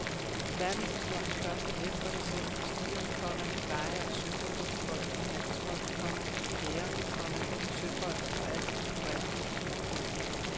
Verdenshistoriens første net var baseret på stier, komma veje og søruter befolket med handelsfolk, komma hære, komma søfolk og alskens kurerer. punktum